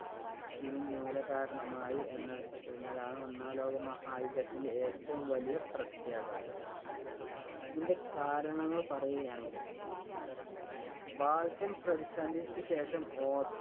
ത്തിനു മൂലകാരണമായി എന്നഎന്നതാണ് ഒന്നാം ലോകമഹായുദ്ധത്തിന്‍റെ ഏറ്റവും വലിയ പ്രത്യാഘാതം. ഇതിന്‍റെ കാരണങ്ങള്‍ പറയുകയാണെങ്കില്‍ ബാൾക്കൻ പ്രതിസന്ധിക്കു ശേഷം ഓസ്